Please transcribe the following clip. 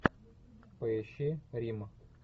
поищи рим